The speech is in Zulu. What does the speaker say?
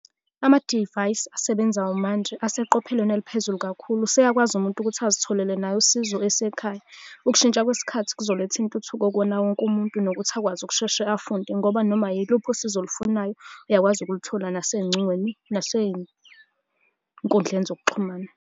Amadivayisi asebenzayo manje aseqophelweni eliphezulu kakhulu, useyakwazi umuntu ukuthi azitholele naye usizo esekhaya. Ukushintsha kwesikhathi kuzoletha intuthuko kuwona wonke umuntu, nokuthi akwazi ukusheshe afunde, ngoba noma yiluphi usizo olufunayo uyakwazi ukulithola nasey'ncingweni, nasey'nkundleni zokuxhumana.